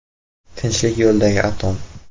Tinchlik yo‘lidagi atom.